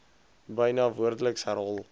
byna woordeliks herhaal